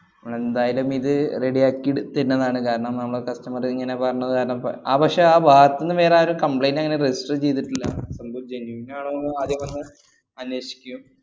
എന്തായാലുമിത് ready യാക്കിയെടു~ ത്തരുന്നതാണ്. കാരണം നമ്മള customer ഇങ്ങനെ പറഞ്ഞത്‌ കാരണം പ~ അഹ് പക്ഷെ ആ ഭാഗത്തൂന്ന് വേറാരും complaint അങ്ങനെ register ചെയ്തിട്ടില്ല. സംഭവം genuine ആണോന്ന് ആദ്യം ഒന്ന് അന്വേഷിക്കും.